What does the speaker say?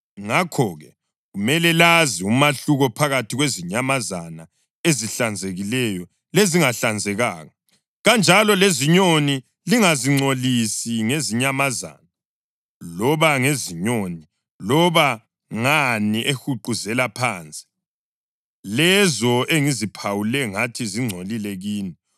Ngakho-ke kumele lazi umahluko phakathi kwezinyamazana ezihlanzekileyo lezingahlanzekanga; kanjalo lezinyoni. Lingazingcolisi ngezinyamazana loba ngezinyoni loba ngani ehuquzela phansi, lezo engiziphawule ngathi zingcolile kini.